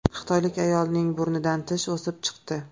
Xitoylik ayolning burnidan tish o‘sib chiqdi.